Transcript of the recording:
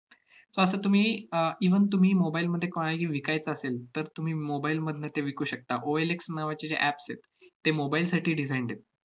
so असं तुम्ही uh even तुम्ही mobile मध्ये विकायचा असेल, तर तुम्ही mobile मधनं ते विकू शकता. OLX नावाचे जे apps आहेत, ते mobile साठी designed आहेत.